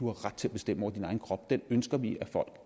har ret til at bestemme over sin egen krop ønsker vi at folk